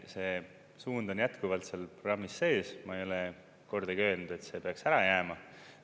See suund on jätkuvalt seal programmis sees, ma ei ole kordagi öelnud, et see peaks ära jääma.